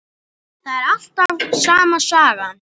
Það er alltaf sama sagan.